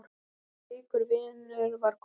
Slíkur vinur var Kolla.